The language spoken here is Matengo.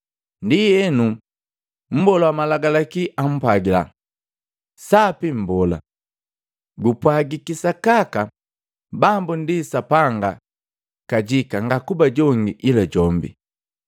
Ndienu, mbola wa malagalaki, ampwagila, “Sapi Mbola! Gupwagiki sakaka Bambu ndi Sapanga kajika ngakuba jonge ila jombi.”